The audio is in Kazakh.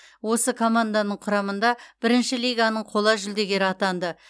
осы команданың құрамында бірінші лиганың қола жүлдегері атанды